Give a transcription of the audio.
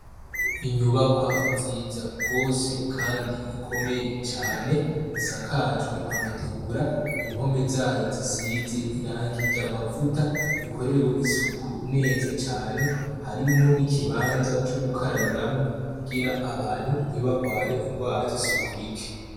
Inyubakwa nziza rwose, kandi ikomeye cane isakajwe amategura impome zayo zisize iranga irye amavuta ikorewe isuku neza cane harimwo n'ikibanza co gukarabiramwo kugira abantu ntibarware ingwara zisuku rike.